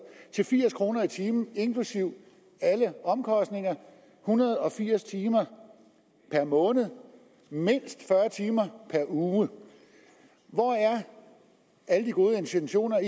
til firs kroner i timen inklusive alle omkostninger en hundrede og firs timer per måned mindst fyrre timer per uge hvor er alle de gode intentioner